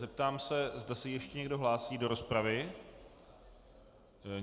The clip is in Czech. Zeptám se, zda se ještě někdo hlásí do rozpravy.